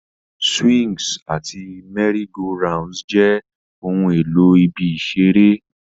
Swings àti merry-go-rounds jẹ́ ohun èlò ibi ìṣeré.